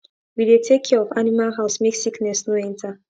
we dey take care of animal house make sickness no enter